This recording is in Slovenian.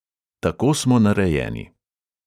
Tako smo narejeni.